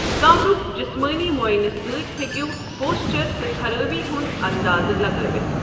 کمرُک جسمٲنی معائنہٕ سۭتۍ ہٮ۪کَو پوسچَر تہٕ خرٲبی ہُنٛد انٛدازٕ لگٲوِتھ۔